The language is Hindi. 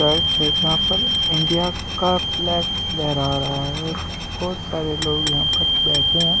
चर्च है जहां पर इंडिया का फ्लैग लहरा रहा है और बहुत सारे लोग यहाँ पर बैठे है।